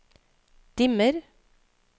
dimmer